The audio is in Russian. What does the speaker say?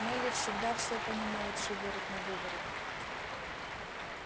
мелли всегда все понимает шиворот-навыворот